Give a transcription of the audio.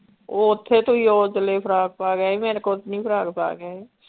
ਉਹ ਓਥੇ ਤੁਸੀਂ ਓ ਚਲੇ ਫਰਾਕ ਪਾ ਕੇ ਆਏ ਮੇਰੇ ਕੋਲ ਤੇ ਨੀ ਫਰਾਕ ਪਾ ਕੇ ਆਏ।